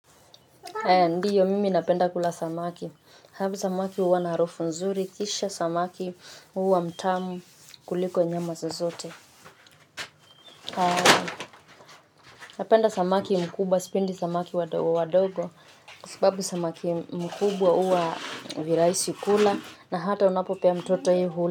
Ndiyo mimi napenda kula samaki. Habu samaki huwa na harufu nzuri. Kisha samaki huwa mtamu kuliko nyama zozote. Napenda samaki mkubwa. Sipendi samaki wadogo wadogo. Kwa sababu samaki mkubwa uwa viraisi kula. Na hata unapo pea mtoto yeye huli.